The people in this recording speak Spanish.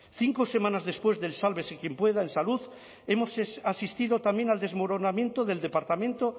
cinco semanas después del sálvese quien pueda en salud hemos asistido también el desmoronamiento del departamento